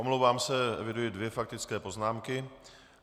Omlouvám se, eviduji dvě faktické poznámky.